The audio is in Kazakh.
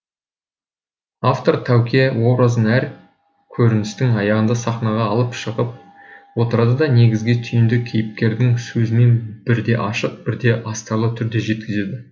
автор тәуке образын әр көріністің аяғында сахнаға алып шығып отырады да негізгі түйінді кейіпкердің сөзімен бірде ашық бірде астарлы түрде жеткізеді